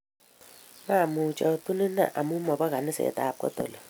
mamuch atun inee amu mobo kanisetab katoliki